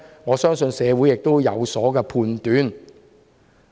我相信社會自有判斷。